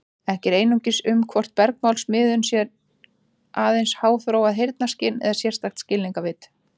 Ekki er eining um hvort bergmálsmiðun sé aðeins háþróað heyrnarskyn eða sérstakt skilningarvit.